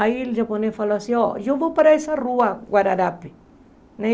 Aí o japonês falou assim, ó, eu vou para essa rua, Guararapi, né?